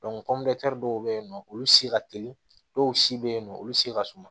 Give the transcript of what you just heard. dɔw bɛ yen nɔ olu se ka teli dɔw si bɛ yen nɔ olu se ka suma